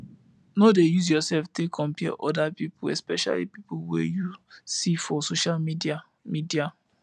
no dey use yourself take compare oda pipo especially pipo wey you see for social media media